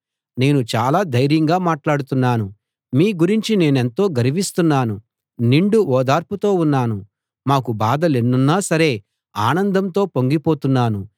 నేను చాలా ధైర్యంగా మాట్లాడుతున్నాను మీ గురించి నేనెంతో గర్విస్తున్నాను నిండు ఓదార్పుతో ఉన్నాను మాకు బాధలెన్నున్నా సరే ఆనందంతో పొంగి పోతున్నాను